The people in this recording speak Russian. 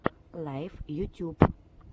лайф ютюб